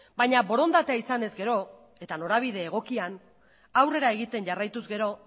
baina borondatea izanez gero eta norabide egokian aurrera egiten jarraituz gero